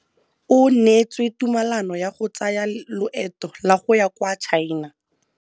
O neetswe tumalanô ya go tsaya loetô la go ya kwa China.